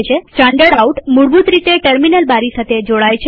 standard out મૂળભૂત રીતે terminal બારી સાથે જોડાયેલ હોય છે